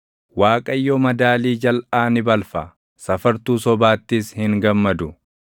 Waaqayyo madaalii jalʼaa ni balfa; safartuu sobaattis hin gammadu.